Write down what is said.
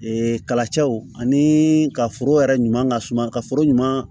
Ee kalacɛw ani ka foro yɛrɛ ɲuman ka suma ka foro ɲuman